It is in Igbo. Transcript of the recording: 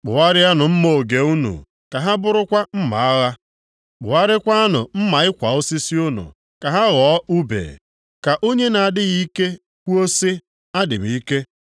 Kpụgharịanụ mma oge unu ka ha bụrụkwa mma agha, kpụgharịakwanụ mma ịkwa osisi unu ka ha ghọọ ùbe. Ka onye na-adịghị ike kwuo sị, “Adị m ike!”